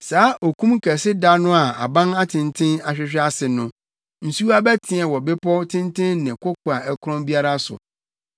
Saa okum kɛse da no a abantenten ahwehwe ase no, nsuwa bɛteɛ wɔ bepɔw tenten ne koko a ɛkorɔn biara so.